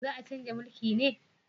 Za a chanza mulki ne?